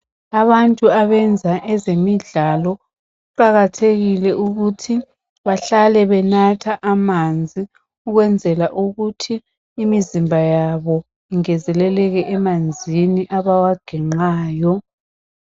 Abantu abenza ezemidlalo kuqakathekile ukuthi bahlale benatha amanzi ukwenzela ukuthi imizimba yabo ingezelekele emanzini abawaginqayo.